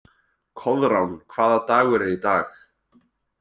Koðrán, hvaða dagur er í dag?